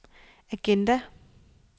agenda